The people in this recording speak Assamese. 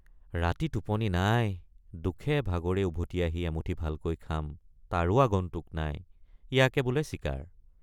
ৰাতি টোপনি নাই দুখেভাগৰে উভতি আহি এমুঠি ভালকৈ খাম তাৰো আগন্তুক নাই ইয়াকে বোলে চিকাৰ।